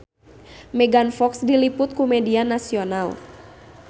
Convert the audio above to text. Megan Fox diliput ku media nasional